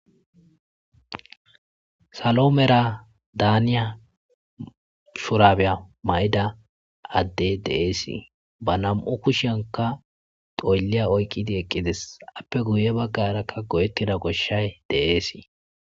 salo mera daaniya shurabya may7ida addey deeesii ba nam7u kushanka xoylliya oyqqidi eqqides appe guye baggarakka go7ettida goshshay deeesii